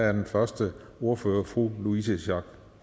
er den første ordfører fru louise schack